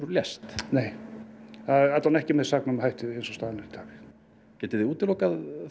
lést nei en ekki með saknæmum hætti eins og staðan er í dag getið þið útilokað